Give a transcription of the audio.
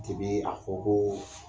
Ti bi a fɔ ko